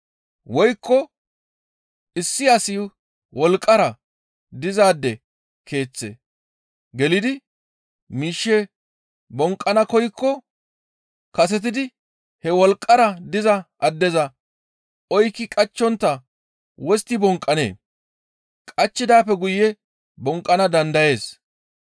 «Woykko issi asi wolqqara dizaade keeththe gelidi miishshe bonqqana koykko kasetidi he wolqqara diza addeza oykki qachchontta wostti bonqqanee? Qachchidaappe guye bonqqana dandayees.